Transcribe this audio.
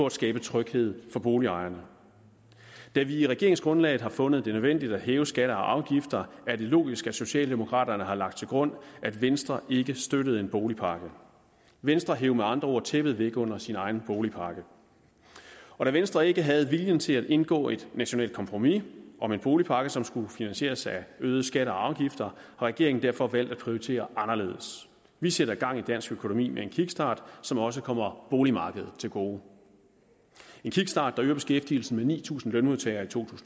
at skabe tryghed for boligejerne da vi i regeringsgrundlaget har fundet det nødvendigt at hæve skatter og afgifter er det logisk at socialdemokraterne har lagt til grund at venstre ikke støttede en boligpakke venstre hev med andre ord tæppet væk under sin egen boligpakke og da venstre ikke havde viljen til at indgå et nationalt kompromis om en boligpakke som skulle finansieres af øgede skatter og afgifter har regeringen derfor valgt at prioritere anderledes vi sætter gang i dansk økonomi med en kickstart som også kommer boligmarkedet til gode en kickstart der øger beskæftigelsen med ni tusind lønmodtagere i to